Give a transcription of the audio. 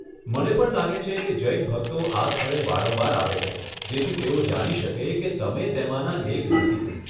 મને પણ લાગે છે કે જૈન ભક્તો આ સ્થળે વારંવાર આવે છે જેથી તેઓ જાણી શકે કે તમે તેમાંના એક નથી.